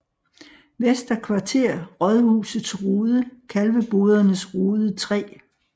Vester Kvarter Rådhusets Rode Kalvebodernes Rode 3